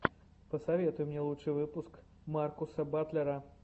посоветуй мне лучший выпуск маркуса батлера